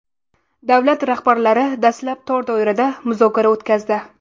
Davlat rahbarlari dastlab tor doirada muzokara o‘tkazdi.